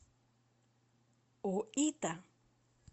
оита